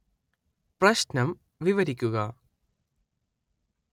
പ്രശ്നം വിവരിക്കുക